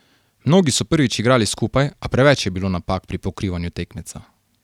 Mnogi so prvič igrali skupaj, a preveč je bilo napak pri pokrivanju tekmeca.